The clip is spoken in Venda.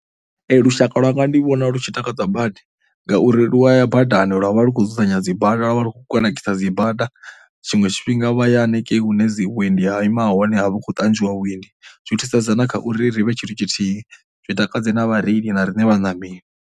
Lushaka lwa nga ndi vhona lu tshi takadzwa badi ngauri lu a ya badani lwa vha lu khou dzudzanya dzi bada, lwa vha lu khou kunakisa dzi bada. Tshiṅwe tshifhinga vha ya hanengei hune dzi vhuendi ha ima hone ha vha hu khou ṱanzwiwa vhuendi zwi thusedza na kha uri ri vhe tshithu tshithihi, zwi i takadze na vhareili na riṋe vhaṋameli.